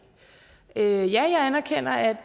ja jeg anerkender at